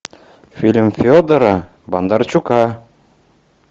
фильм федора бондарчука